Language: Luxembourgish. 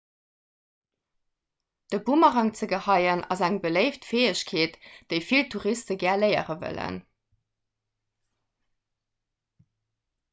de boomerang ze geheien ass eng beléift fäegkeet déi vill touriste gär léiere wëllen